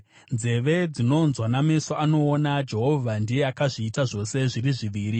Nzeve dzinonzwa nameso anoona, Jehovha ndiye akazviita zvose zviri zviviri.